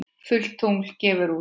Fullt tungl gefur út.